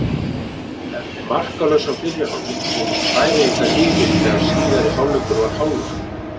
Eftir markalausan fyrri hálfleik komust Færeyingarnir yfir þegar síðari hálfleikur var hálfnaður.